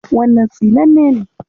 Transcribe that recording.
Wannan tsinanne ne.